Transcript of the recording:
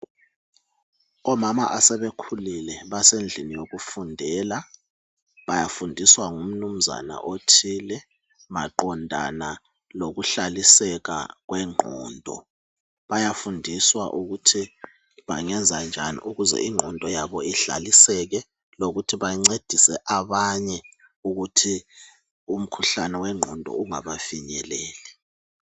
Omama asebekhulile basendlini yokufundela bafundiswa ngumnumzana othile maqondana lokuhlaliseka kwengqondo bayafundiswa ukuthi bangenza njani ukuze ingqondo yabo inhlaliseke lokuthi bancedise abanye ukuthi umkhuhlane wengqondo ungabafinyeleli.